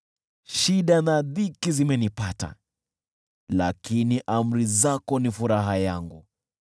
Shida na dhiki zimenipata, lakini amri zako ni furaha yangu.